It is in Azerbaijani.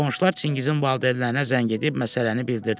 Qonşular Çingizin valideynlərinə zəng edib məsələni bildirdilər.